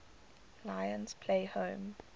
lions play home